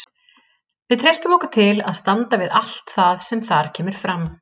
Við treystum okkur til að standa við allt það sem þar kemur fram.